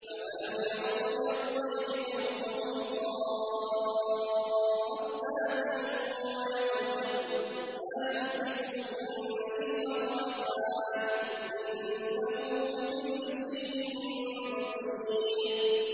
أَوَلَمْ يَرَوْا إِلَى الطَّيْرِ فَوْقَهُمْ صَافَّاتٍ وَيَقْبِضْنَ ۚ مَا يُمْسِكُهُنَّ إِلَّا الرَّحْمَٰنُ ۚ إِنَّهُ بِكُلِّ شَيْءٍ بَصِيرٌ